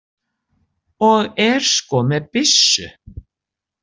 Og er sko með byssu.